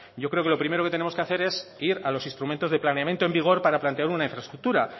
yo creo que lo primero que tenemos que hacer es ir a los instrumentos de planeamiento en vigor para plantear una infraestructura